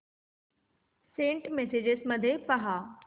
Saint messages मध्ये पहा